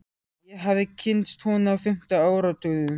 Ég hafði kynnst honum á fimmta áratugnum.